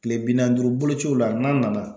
Tile bi naan duuru bolociw la n'an nana